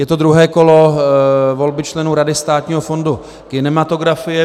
Je to druhé kolo volby členů Rady Státního fondu kinematografie.